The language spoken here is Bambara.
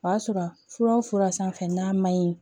O y'a sɔrɔ fura o fura sanfɛ n'a man ɲi